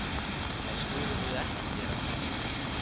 Það skulum við ekki gera.